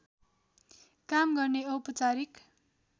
काम गर्ने औपचारिक